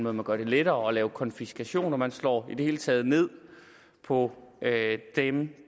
at man gør det lettere at lave konfiskation man slår i det hele taget ned på dem